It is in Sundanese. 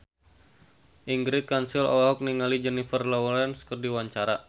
Ingrid Kansil olohok ningali Jennifer Lawrence keur diwawancara